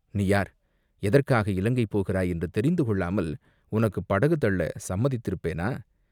நீ யார், எதற்காக இலங்கை போகிறாய் என்று தெரிந்து கொள்ளாமல் உனக்குப் படகு தள்ளச் சம்மதித்திருப்பேனா?